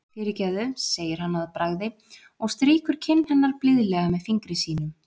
Fyrirgefðu, segir hann að bragði og strýkur kinn hennar blíðlega með fingri sínum.